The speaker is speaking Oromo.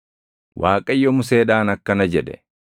Waaqayyo Museedhaan akkana jedhe;